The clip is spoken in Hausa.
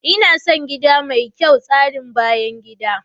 Ina son gida mai kyau tsarin bayan gida.